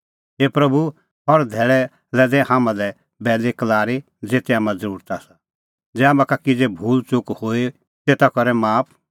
हे प्रभू हर धैल़ै दै हाम्हां लै बैल़ीक्लारी ज़ेते हाम्हां ज़रुरत आसा